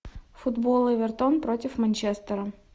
футбол эвертон против манчестера